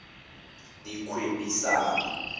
dikgwebisano